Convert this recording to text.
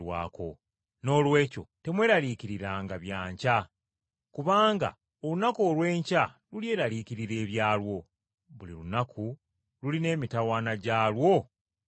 Noolwekyo temweraliikiriranga bya nkya. Kubanga olunaku olw’enkya lulyeraliikirira ebyalwo. Buli lunaku lulina emitawaana gyalwo egimala.”